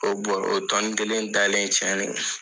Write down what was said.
O bɔrɔ o tɔni kelen danen tiɲɛnen